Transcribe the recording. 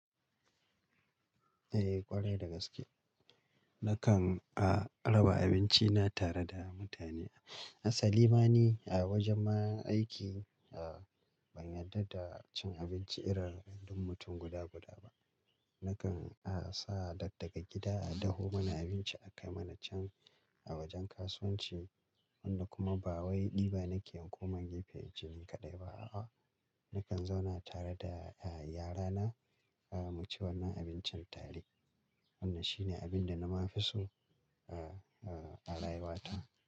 Eh ƙwarai da gaske. Nakan a raba abinci na tare da mutane. Asali ma ni a wajen ma aiki, a ban yarda da cin abinci irin duk mutum guda guda ba. Nakan a sa dad daga gida a daho mana abinci a kai mana can a wajen kasuwanci. Wanda kuma ba wai ɗiba nake inkoma gefe in ci ni kaɗai ba. A'a, nakan zauna tare da, eh, yara na, eh, mu ci wannan abincin tare. Wannan shi ne abin da na fi so, eh, a rayuwa ta.